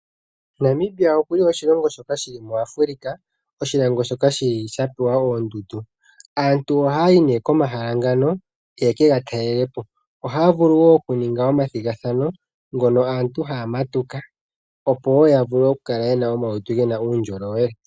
Namibia oku li oshilongo shoka shi li muAfrika, oshilongo shoka shi li sha pewa oondundu. Aantu ohaa yi komahala ngano ye ke ga talele po. Ohaa vulu wo okuninga omathigathano ngono aantu haa matuka, opo wo ya vule okukala ye na omalutu ge na uundjolowele.